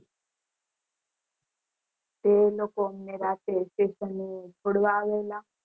તે લોકો અમને રાતે station એ છોડવા આવેલા